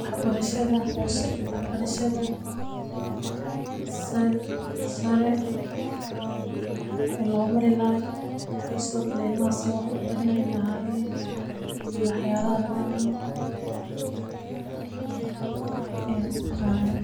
waxbarashada xoose iyo waxbarashada saree, wiixi lomarilaxaay, iyo sidhokale ilmaxa sidhi wax ubarani laxayen iyo waxyalaxa lagarawo ayan arkixaya.